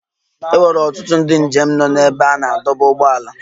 E nwere ọtụtụ ndị njem nọ n'ebe a na-adọba ụgbọala.